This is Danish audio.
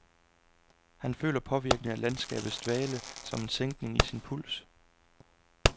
Han føler påvirkningen af landskabets dvale som en sænkning af sin puls.